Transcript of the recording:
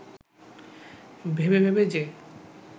ভেবে ভেবে যে